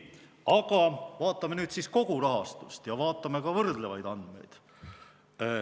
Aga vaatame nüüd kogu rahastust ja vaatame ka võrdlevaid andmeid.